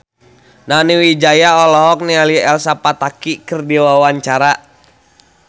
Nani Wijaya olohok ningali Elsa Pataky keur diwawancara